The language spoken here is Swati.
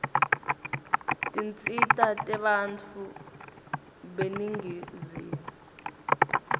tinsita tebantfu beningizimu